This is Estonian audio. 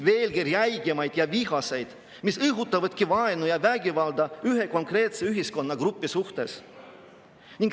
Veelgi räigemaid ja vihaseid, mis õhutavadki vaenu ja vägivalda ühe konkreetse ühiskonnagrupi suhtes.